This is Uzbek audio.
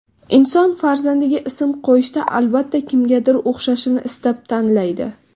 Inson farzandiga ism qo‘yishda, albatta, kimgadir o‘xshashini istab, tanlaydi.